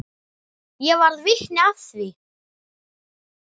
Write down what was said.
Ég varð vitni að því.